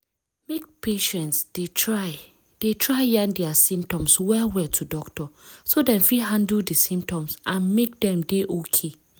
make patients de try de try yarn dia symptoms well well to doctor so dem fit handle di symptoms and make dem dey okay.